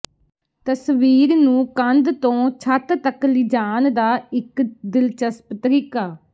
ਤਸਵੀਰ ਨੂੰ ਕੰਧ ਤੋਂ ਛੱਤ ਤੱਕ ਲਿਜਾਣ ਦਾ ਇੱਕ ਦਿਲਚਸਪ ਤਰੀਕਾ